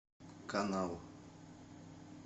канал